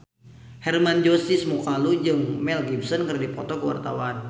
Hermann Josis Mokalu jeung Mel Gibson keur dipoto ku wartawan